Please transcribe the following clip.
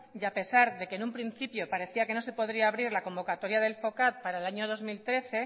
y a pesar de que en un principio parecía que no se podría abrir la convocatoria del focad para el año dos mil trece